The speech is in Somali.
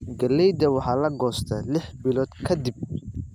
Galleyda waxaa la goostaa lix bilood ka dib.